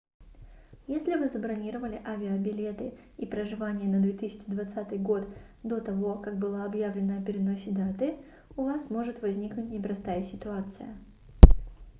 если вы забронировали авиабилеты и проживание на 2020 год до того как было объявлено о переносе даты у вас может возникнуть непростая ситуация